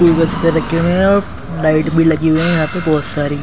रखे हुए हैं और लाइट भी लगी हुई है यहां पे बहुत सारी।